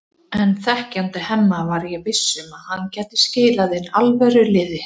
En þekkjandi Hemma var ég viss um að hann gæti skilað inn alvöru liði.